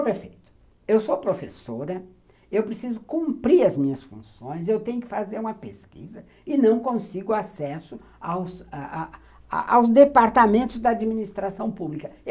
Prefeito, eu sou professora, eu preciso cumprir as minhas funções, eu tenho que fazer uma pesquisa e não consigo acesso a a aos departamentos da administração pública.